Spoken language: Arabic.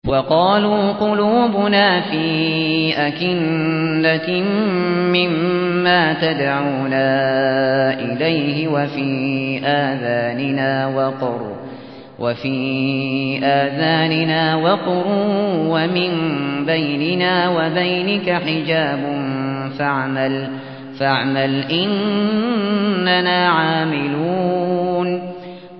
وَقَالُوا قُلُوبُنَا فِي أَكِنَّةٍ مِّمَّا تَدْعُونَا إِلَيْهِ وَفِي آذَانِنَا وَقْرٌ وَمِن بَيْنِنَا وَبَيْنِكَ حِجَابٌ فَاعْمَلْ إِنَّنَا عَامِلُونَ